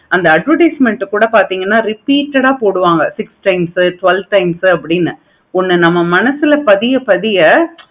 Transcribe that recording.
அந்த advertisement கூட பார்த்திங்கனா repeated ஆஹ் போடுவாங்க six times உ twelve times உ அப்படின்னு நம்ம மனசுல பதிய பதிய